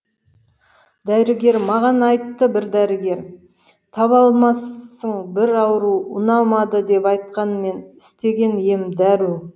дәрігер маған айтты бір дәрігер таба алмассың бір ауру ұнамады деп айтқан мен істеген ем дәру